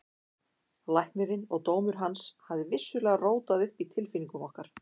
Læknirinn og dómur hans hafði vissulega rótað upp í tilfinningum okkar.